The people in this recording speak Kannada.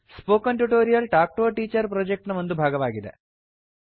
spoken tutorial talk to a teacher project ನ ಒಂದು ಭಾಗವಾಗಿದೆ